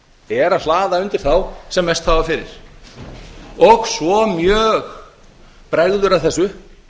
að hlaða undir þá sem mest hafa fyrir og svo mjög bregður að þessu